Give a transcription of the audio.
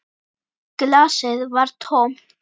Glasið var tómt.